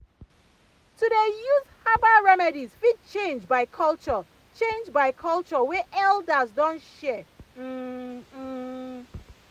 to dey use herbal remedies fit change by culture change by culture wey elders don share um um.